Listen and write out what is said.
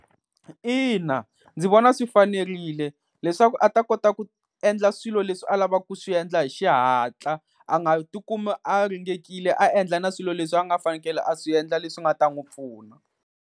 Ina ndzi vona swi fanerile leswaku a ta kota ku endla swilo leswi a lavaka ku swi endla hi xihatla, a nga tikumi a ringekile a endla na swilo leswi a nga fanekele a swi endla leswi nga ta n'wi pfuna.